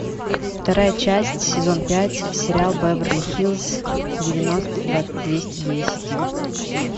вторая часть сезон пять сериал беверли хиллз девяносто двести десять